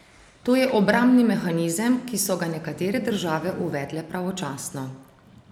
To je obrambni mehanizem, ki so ga nekatere države uvedle pravočasno.